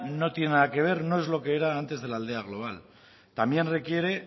no tiene nada que ver no es lo que era antes de la aldea global también requiere